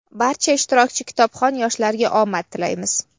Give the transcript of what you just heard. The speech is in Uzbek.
Barcha ishtirokchi kitobxon yoshlarga omad tilaymiz!.